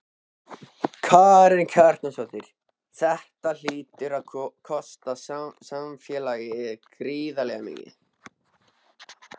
Karen Kjartansdóttir: Þetta hlýtur að kosta samfélagið gríðarlega mikið?